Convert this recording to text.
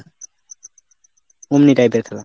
অমনি টাইপের খেলা।